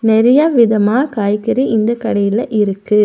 நெறைய விதமா காய்கறி இந்த கடையில இருக்கு.